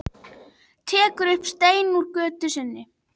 Tekur upp stein úr götu sinni.